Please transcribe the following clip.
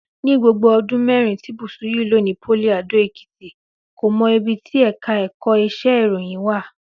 Ní gbogbo ọdún mẹ́rin tí Bùsúyì lò ní pólì Adó-Èkìtì, kò mọ ibi tí ẹ̀ka ẹ̀kọ́ iṣẹ́ ìròyìn wà